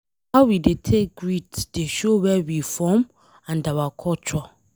How we dey take greet dey show where we from and our culture.